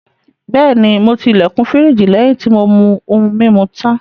Bẹ́ẹ̀ni, mo ti ilẹ̀kùn firiji lẹ́yìn tí mo mú ohun-mímu tán.